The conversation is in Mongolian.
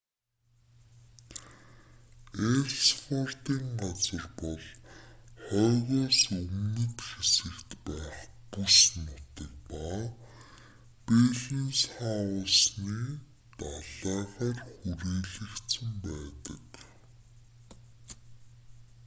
элссвордын газар бол хойгоос өмнөд хэсэгт байх бүс нутаг ба беллинсхаусены далайгаар хүрээлэгдсэн байдаг